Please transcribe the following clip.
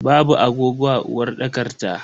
Babu agogo a uwarɗakar ta.